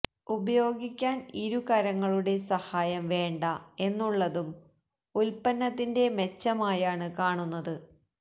ഉപയോഗിക്കാന് ഇരു കരങ്ങുടെ സഹായം വേണ്ട എന്നുള്ളതും ഉല്പന്നത്തിന്റെ മെച്ചമായാണ് കാണുന്നത്